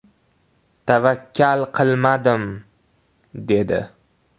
Tavakkal qilmadim”, dedi.